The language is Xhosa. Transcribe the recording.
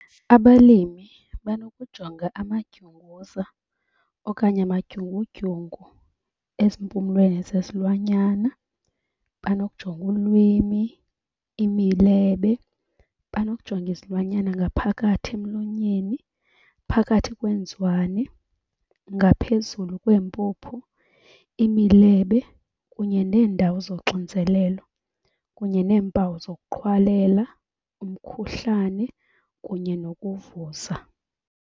Abalimi banokujonga amadyunguza okanye amadyungudyungu ezimpumlweni zezilwanyana, banokujonga ulwimi, imilebe. Banokujonga izilwanyana ngaphakathi emlonyeni, phakathi kweenzwane, ngaphezulu kwempuphu, imilebe kunye neendawo zoxinzelelo. Kunye neempawu zokuqhwalela, umkhuhlane kunye nokuvuza.